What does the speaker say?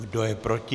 Kdo je proti?